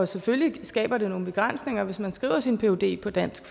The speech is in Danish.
selvfølgelig skaber det nogle begrænsninger hvis man skriver sin phd på dansk